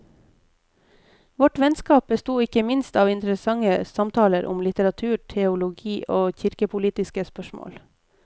Vårt vennskap besto ikke minst av interessante samtaler om litteratur, teologi og kirkepolitiske spørsmål.